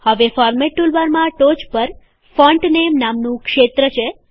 હવે ફોરમેટ ટુલબારમાં ટોચ પર ફોન્ટ નેમ નામનું ક્ષેત્ર છે